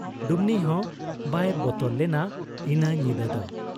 ᱰᱩᱢᱱᱤᱦᱚᱸ ᱵᱟᱭ ᱵᱚᱛᱚᱨ ᱞᱮᱱᱟ ᱤᱱᱟᱹ ᱧᱤᱫᱟᱹᱫᱚ ᱾